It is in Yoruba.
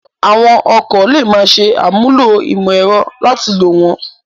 Àwọn ọkọ̀ lè máa ṣe àmúlò ìmọ̀ ẹ̀rọ láti lò wọ́n